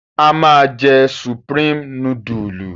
A máa jẹ Supreme núdúlù.